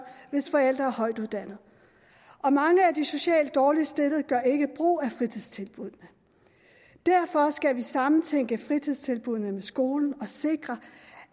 hvis forældre er højtuddannede og mange af de socialt dårligst stillede gør ikke brug af fritidstilbuddene derfor skal vi sammentænke fritidstilbuddene med skolen og sikre